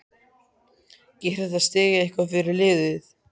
Gerir þetta stig eitthvað fyrir liðið?